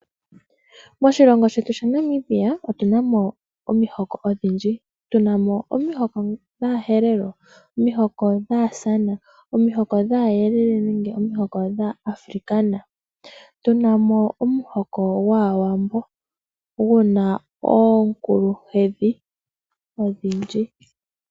Moshilongo shety shaNamibia otunamo omihoko odhindjo tunamo aaherero, aakwankala, aayelele naawambo guna oonkuluhedhi odhindji.